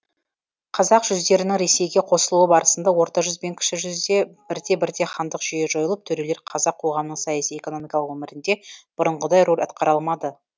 қазақ жүздерінің ресейге қосылуы барысында орта жүз бен кіші жүзде бірте бірте хандық жүйе жойылып төрелер қазақ қоғамының саяси экономикалық өмірінде бұрынғыдай рөл атқара алмады